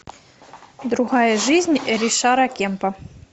другая жизнь ришара кемпа